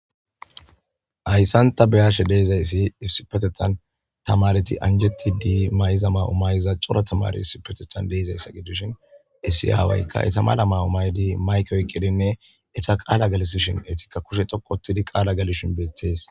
hayssan ta beyashe de'izayssi issipetethan tamareti anjetti dii mayiza mayo mayiza coro tamari issipetetan de'ezaysa gidishin issi awaykka eta mala ma'u maydi mayik oyqidinne eta qaala galisishin eetikka kushe xoku otidi qaala galishin beetees